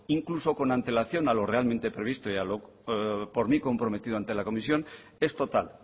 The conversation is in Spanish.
incluso con antelación a lo realmente previsto y a lo por mí comprometido ante la comisión es total